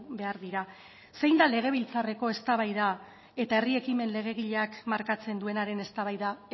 behar dira zein da legebiltzarreko eztabaida eta herri ekimen legegileak markatzen duenaren eztabaida